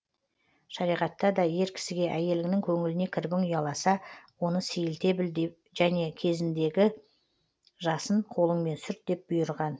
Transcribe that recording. шариғатта да ер кісіге әйеліңнің көңіліне кірбің ұяласа оны сейілте білде және көзіндегі жасын қолыңмен сүрт деп бұйырған